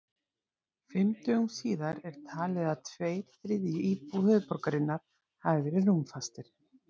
Fimm dögum síðar er talið að tveir þriðju íbúa höfuðborgarinnar hafi verið rúmfastir.